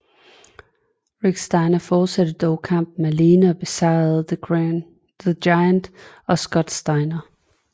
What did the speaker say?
Rick Steiner fortsatte dog kampen alene og besejrede The Giant og Scott Steiner